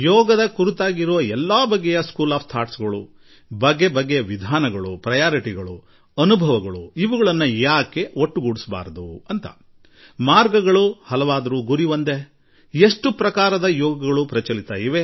ಯೋಗದಲ್ಲಿ ಹಲವು ವಿಭಿನ್ನ ಚಿಂತನಾ ಕ್ರಮಗಳಿವೆ ಅದನ್ನು ಪಾಲಿಸುವವರೆಲ್ಲರೂ ಏಕೆ ಒಟ್ಟಾಗಬಾರದು ಪ್ರತಿಯೊಬ್ಬರಿಗೂ ಅವರದೇ ಆದ ವಿಧಾನಗಳಿವೆ